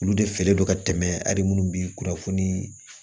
Olu de fɛlen don ka tɛmɛ hali munnu be kunnafoni